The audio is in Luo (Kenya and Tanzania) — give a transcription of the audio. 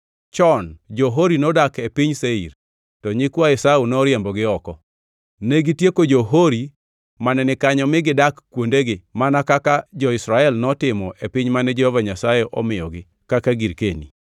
Chon jo-Hori nodak e piny Seir, to nyikwa Esau noriembogi oko. Negitieko jo-Hori mane ni kanyo mi gidak kuondegi mana kaka jo-Israel notimo e piny mane Jehova Nyasaye omiyogi kaka girkeni.)